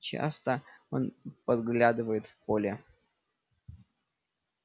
часто он поглядывает в поле